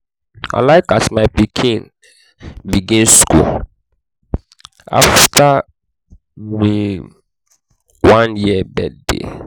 i like as my pikin begin skool afta um him um one year birthday.